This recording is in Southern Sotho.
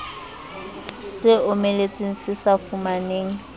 se omeletseng se sa fumaneng